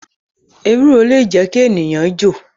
Ewúro le jẹ́ kí ènìyàn jo